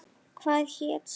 Hvað hét sá?